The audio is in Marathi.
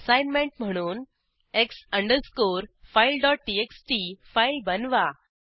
असाईनमेंट म्हणून X अंडरस्कोर fileटीएक्सटी फाईल बनवा